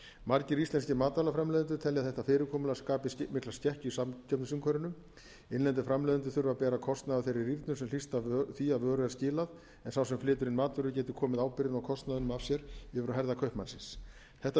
margir íslenskir matvælaframleiðendur telja að þetta fyrirkomulag skapi mikla skekkju í samkeppnisumhverfinu innlendir framleiðendur þurfi að bera kostnað af þeirri rýrnun sem hlýst af því að vöru er skilað en sá sem flytur inn matvörur geti komið ábyrgðinni og kostnaðinum af sér yfir á herðar kaupmannsins þetta